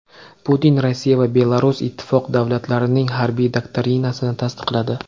Putin Rossiya va Belarus Ittifoq davlatlarining harbiy doktrinasini tasdiqladi.